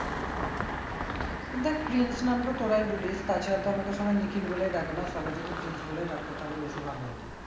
দেখ প্রিন্স নামটা তোরাই বলিস তা ছাড়া তো আমাকে সবাই নিখিল বলেই ডাকে না, সবাই যদি প্রিন্স বলেই ডাকতো তাহলে বেশি ভালো হতো